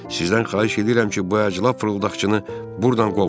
Sizdən xahiş edirəm ki, bu əclaf fırıldaqçını burdan qovun.